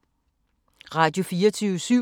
Radio24syv